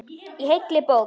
Í heilli bók.